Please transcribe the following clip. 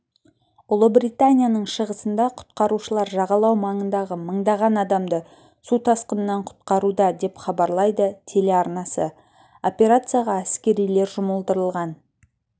ұлыбританияның шығысында құтқарушылар жағалау маңындағы мыңдаған адамды су тасқынынан құтқаруда деп хабарлайды телеарнасы операцияға әскерилер жұмылдырылған